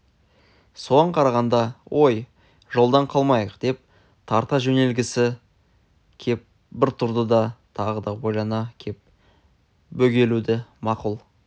соған қарағанда ой жолдан қалмайық деп тарта жөнелгісі кеп бір тұрды да тағы да ойлана кеп бөгелуді мақұл